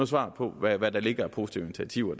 svar på hvad hvad der ligger af positive